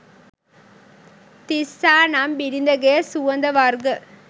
තිස්සා නම් බිරිඳගේ සුවඳ වර්ග,